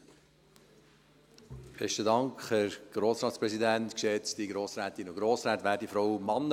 Dann gebe ich das Wort Regierungsrat Neuhaus.